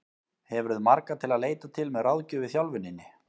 Hefurðu marga til að leita til með ráðgjöf í þjálfuninni?